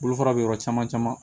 Bolofara bɛ yɔrɔ caman caman